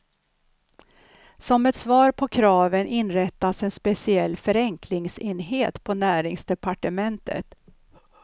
Som ett svar på kraven inrättas en speciell förenklingsenhet på näringsdepartementet.